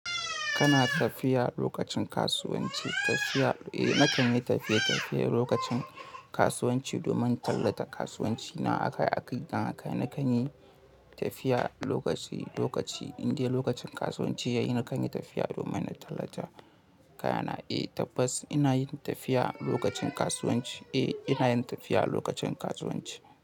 Kana tafiya lokacin kasuwanci? Tafiya, eh nakan yi tafiye-tafiye lokacin kasuwanci domin tallata kasuwancina. A kai a kai dan haka nakan yi tafiya lokaci lokaci, in dai lokacin kasuwanci yayi nakan yi tafiya domin na tallata kayana. Eh tabbas ina yin tafiya lokacin kasuwanci. Eh ina yin tafiya lokacin kasuwanci.